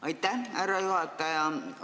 Aitäh, härra juhataja!